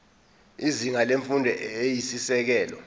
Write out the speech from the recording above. izinga lemfundo eyisisekelo